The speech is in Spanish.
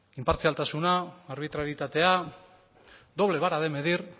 inpartzialtasuna arbitrarietatea doble vara de medir